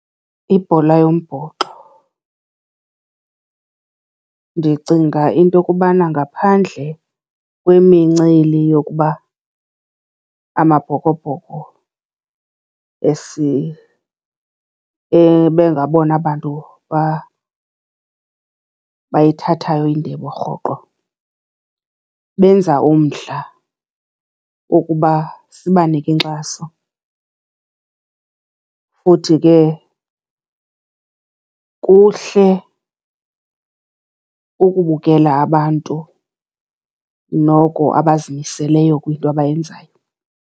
Ibhola yombhoxo. Ndicinga into okubana ngaphandle kwemincili yokuba Amabhokobhoko bengabona bantu bayithathayo indebe rhoqo, benza umdla wokuba sibanike inkxaso. Futhi ke kuhle ukubukela abantu noko abazimiseleyo kwinto abayenzayo.